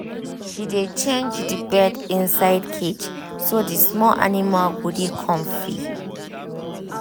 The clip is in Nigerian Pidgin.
she dey change the bed inside cage so the small animal go dey comfy